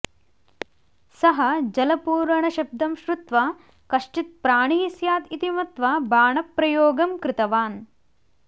सः जलपूरणशब्दं श्रुत्वा कश्चित् प्राणिः स्यात् इति मत्वा बाणप्रयोगं कृतवान्